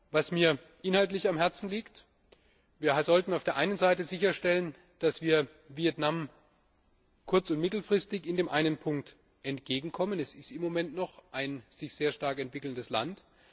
Was mir inhaltlich am Herzen liegt Wir sollten auf der einen Seite sicherstellen, dass wir Vietnam kurz und mittelfristig in dem einen Punkt entgegenkommen es ist im Moment noch ein sich sehr stark entwickelndes Land.